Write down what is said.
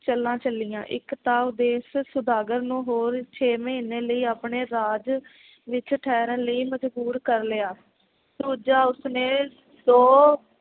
ਚਾਲਾਂ ਚੱਲੀਆਂ ਇਕ ਤਾਂ ਉਹ ਦੇਸ਼ ਸੌਦਾਗਰ ਨੂੰ ਹੋਰ ਛੇਹ ਮਹੀਨੇ ਲਈ ਆਪਣੇ ਰਾਜ ਵਿਚ ਠਹਿਰਨ ਲਈ ਮਜਬੂਰ ਕਰ ਲਿਆ ਦੂਜਾ ਉਸਨੇ ਦੋ